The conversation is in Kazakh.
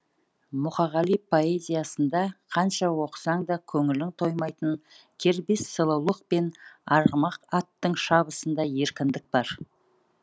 мұқағали поэзиясында қанша оқысаң да көңілің тоймайтын кербез сұлулық пен арғымақ аттың шабысындай еркіндік бар